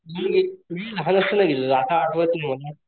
नाही रे मी लहान असताना गेलेलो आता आठवत नाही मला,